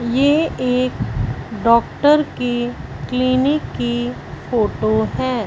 ये एक डॉक्टर की क्लिनिक की फोटो है।